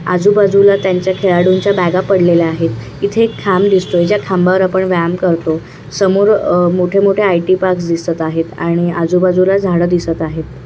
आजु बाजूला त्यांच्या खेळाडूंचा बॅगा पडलेल्या आहेत इथे एक खांब दिसतोय ज्या खांबावर आपण व्यायाम करतो समोर अह मोठे-मोठे आयटी पार्क्स दिसत आहेत आणि आजु बाजूला झाड दिसत आहेत.